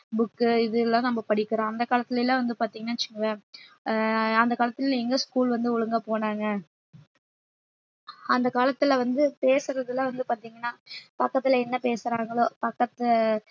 book இது எல்லாம் நம்ம படிக்கிறோம் அந்த காலத்துல எல்லாம் வந்து பாத்தீங்கன்னா வச்சுக்கோங்களேன் அஹ் அந்த காலத்துல எங்க school வந்து ஒழுங்கா போனாங்க அந்த காலத்துல வந்து பேசுறதெல்லாம் வந்து பாத்தீங்கன்னா பக்கத்துல என்ன பேசுறாங்களோ பக்கத்து